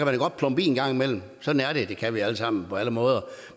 da godt plumpe i en gang imellem sådan er det det kan vi alle sammen på alle måder